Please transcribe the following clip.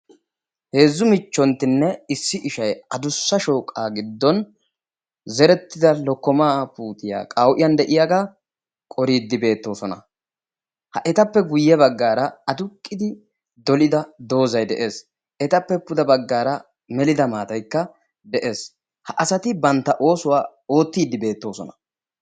Heezzu michchontinne issi ishshay adussa shooqqaa giddon zerettida lokkomaa puutiyaa qawu'iyaan de'iyaagaa qoriidi beettoosona. ha etappe guye baggaara aduqqidi dollida doozay de'ees. etappe pude baggaara melida maataykka de'ees. ha asati bantta oossuwaa oottiidi beettoosona.